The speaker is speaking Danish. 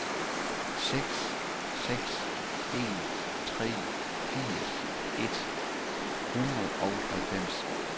seks seks en tre firs et hundrede og halvfems